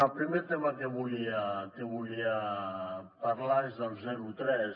el primer tema del que volia parlar és del zero tres